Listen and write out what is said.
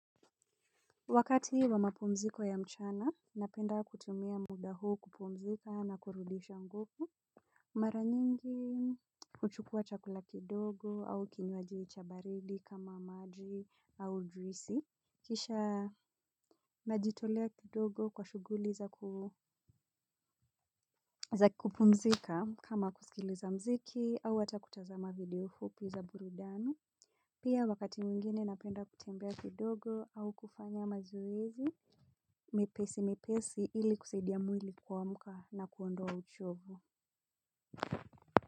Wakati wa mapumziko ya mchana, napenda kutumia muda huu kupumzika na kurudisha nguvu. Mara nyingi huchukua chakula kidogo au kinywaji cha baridi kama maji au juisi. Kisha najitolea kidogo kwa shughuli za za kupumzika kama kuskiliza mziki au hata kutazama video fupi za burudani. Pia wakati mwingine napenda kutembea kidogo au kufanya mazoezi mepesi mepesi ili kusaidia mwili kuamka na kuondoa uchovu.